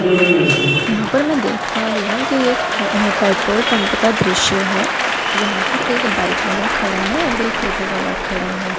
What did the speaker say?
यहां पर मैं देख पा रही हूं कि एक पेट्रोल पंप का दृश्य है जहां पर एक बाइक वाला खड़ा है और एक ऑटो वाला खड़ा है।